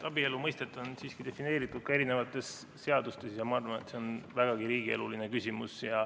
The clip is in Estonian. Abielu mõistet on siiski defineeritud eri seadustes ja ma arvan, et see on vägagi riigieluline küsimus.